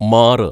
മാറ്